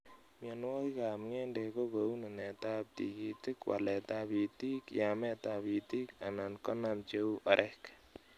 Mionwokikab ng'endek ko nunetab tikitik, waletab itikab , yametab itik, anan konam cheu orek.